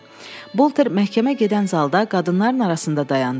Bolter məhkəmə gedən zalda qadınların arasında dayandı.